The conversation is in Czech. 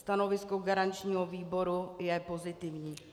Stanovisko garančního výboru je pozitivní.